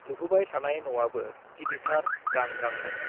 लुफुबाय थानाय न'आबो गिदिरथार गां गांनो।